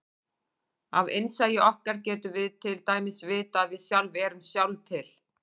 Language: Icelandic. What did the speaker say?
Af innsæi okkar getum við til dæmis vitað að við sjálf erum sjálf til.